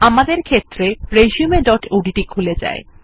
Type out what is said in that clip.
আমাদের ক্ষেত্রে resumeওডিটি খুলে যায়